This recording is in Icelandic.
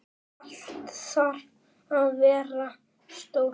Allt þarf að vera stórt.